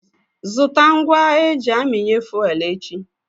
Zụta ngwa eji aminye fuwel echi.